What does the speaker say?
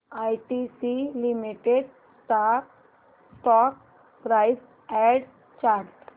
ITC limited stock price and chart